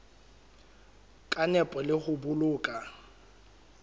ka nepo le ho boloka